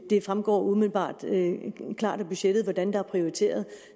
det fremgår umiddelbart klart af budgettet hvordan der er prioriteret